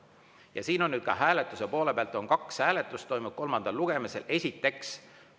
Ja ka hääletust, et kolmandal lugemisel toimub kaks hääletust.